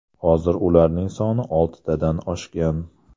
Hozir ularning soni oltidan oshgan.